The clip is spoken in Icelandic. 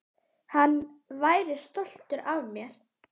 Hann væri stoltur af mér.